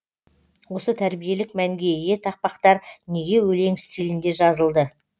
осы тәрбиелік мәнге ие тақпақтар неге өлең стилінде жазылды